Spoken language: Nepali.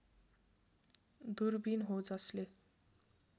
दूरबीन हो जसले